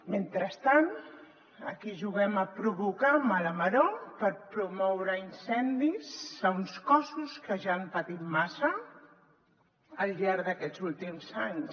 mentrestant aquí juguem a provocar mala maror per promoure incendis a uns cossos que ja han patit massa al llarg d’aquests últims anys